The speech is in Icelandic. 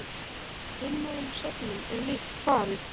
Hinum öðrum söfnum er líkt farið.